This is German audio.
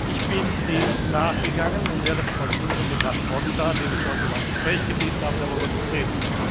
Ich bin dem nachgegangen und werde versuchen, mit Herrn Ponta, den ich heute um ein Gespräch gebeten habe, darüber zu reden.